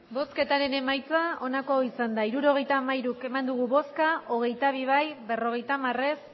hirurogeita hamairu eman dugu bozka hogeita bi bai berrogeita hamar ez